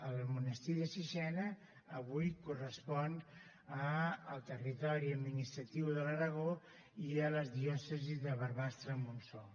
el monestir de sixena avui correspon al territori administratiu de l’aragó i a les diòcesis de barbastremontsó